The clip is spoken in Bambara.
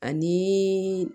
Ani